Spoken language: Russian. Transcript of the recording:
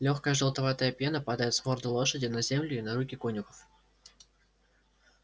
лёгкая желтоватая пена падает с морды лошади на землю и на руки конюхов